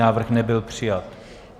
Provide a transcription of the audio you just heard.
Návrh nebyl přijat.